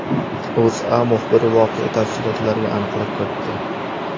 O‘zA muxbiri voqea tafsilotlariga aniqlik kiritdi .